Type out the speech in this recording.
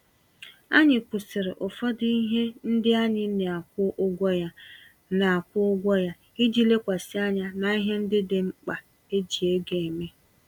Anyị kwụsịrị ụfọdụ ihe ndị anyị na-akwụ ụgwọ ya, na-akwụ ụgwọ ya, iji lekwasị anya n'ihe ndị dị mkpa eji ego eme.